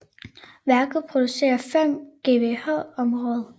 Værket producerer 5 GWh om året